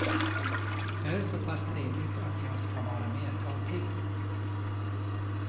Det är så pass trevligt att jag ska vara med ett tag till.